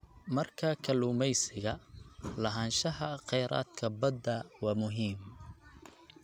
Marka kalluumeysiga, lahaanshaha kheyraadka badda waa muhiim.